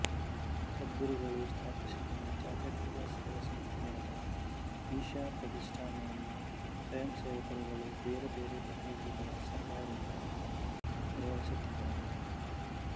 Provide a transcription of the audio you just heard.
ಸದ್ಗುರುಗಳು ಸ್ಥಾಪಿಸಿದ ಜಾತ್ಯಾತೀತ ಸೇವಾಸಂಸ್ಥೆಯಾದ ಈಶ ಪ್ರತಿಷ್ಠಾನವನ್ನು ಸ್ವಯಂಸೇವಕರುಗಳು ಬೇರೆ ಬೇರೆ ಪ್ರತಿನಿಧಿಗಳ ಸಹಾಯದಿಂದ ನಿರ್ವಹಿಸುತ್ತಿದ್ದಾರೆ